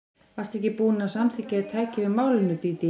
Varstu ekki búin að samþykkja að ég tæki við málinu, Dídí?